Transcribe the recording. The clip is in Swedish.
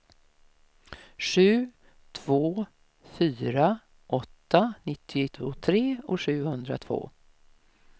sju två fyra åtta nittiotre sjuhundratvå